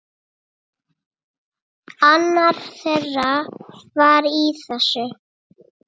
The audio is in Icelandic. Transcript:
Annar þeirra var í þessu!